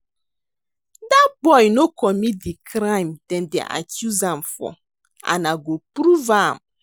Dat boy no commit the crime dem dey accuse am for and I go prove am